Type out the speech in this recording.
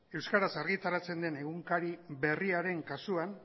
euskaraz argitaratzen den egunkari berriaren kasuan